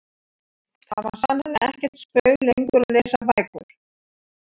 Það var sannarlega ekkert spaug lengur að lesa bækur.